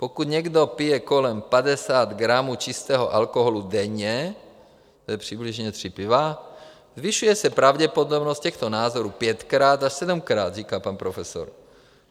Pokud někdo pije kolem 50 gramů čistého alkoholu denně, to je přibližně tři piva, zvyšuje se pravděpodobnost těchto nádorů pětkrát až sedmkrát, říká pan profesor.